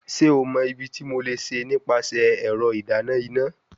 Ṣe o mọ ibiti mo le ṣe nipasẹ ẹrọ idana ina?